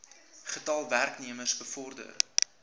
getal werknemers bevorder